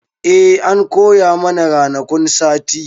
E, an koya mana ranakun sati.